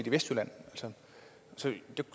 i vestjylland så